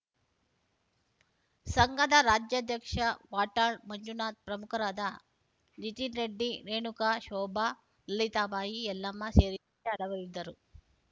ಸಂಘದ ರಾಜ್ಯಾಧ್ಯಕ್ಷ ವಾಟಾಳ್‌ ಮಂಜುನಾಥ್‌ ಪ್ರಮುಖರಾದ ನಿತಿನ್‌ ರೆಡ್ಡಿ ರೇಣುಕಾಶೋಭಾ ಲಿತಾಬಾಯಿ ಯಲ್ಲಮ್ಮ ಸೇರಿದಂತೆ ಹಲವರಿದ್ದರು